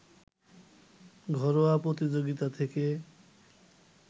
ঘরোয়া প্রতিযোগিতা থেকে